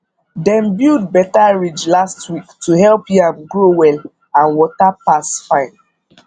dem build better ridge last week to help yam grow well and water pass fine